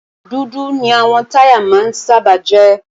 Dúdú ni àwọn táyà máa ń sábà jẹ́.